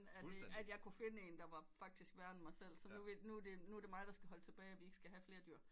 At jeg kunne finde en der var faktisk værre end mig selv så nu er det mig der skal holde tilbage at vi ikke skal have flere dyr